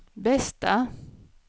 bästa